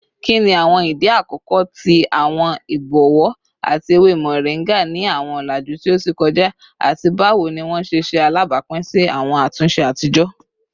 Kini awọn idi akọkọ ti awọn ibọwọ ati ewe moringa ni awọn ọlaju ti o ti kọja, ati bawo ni wọn ṣe ṣe alabapin si awọn atunṣe atijọ?